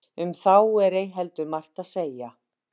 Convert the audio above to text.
um þá er ei heldur margt að segja